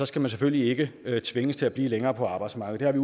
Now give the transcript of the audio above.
skal man selvfølgelig ikke tvinges til at blive længere på arbejdsmarkedet vi